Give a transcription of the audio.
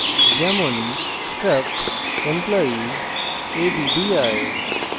যেমন struct employee addr;